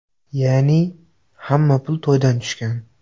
Ya’ni, hamma pul to‘ydan tushgan.